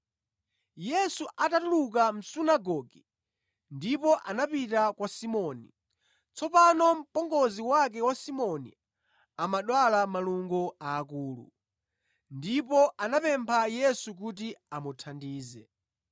Yesu anatuluka mʼsunagoge ndipo anapita kwa Simoni. Tsopano mpongozi wake wa Simoni amadwala malungo akulu, ndipo anamupempha Yesu kuti amuthandize.